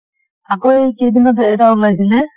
আকৌ এই কেইদিনতে এটা ওলাইছিলে